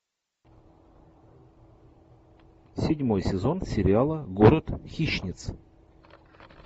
седьмой сезон сериала город хищниц